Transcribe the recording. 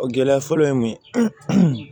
O gɛlɛya fɔlɔ ye mun ye